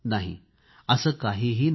नाही असे काहीही नाही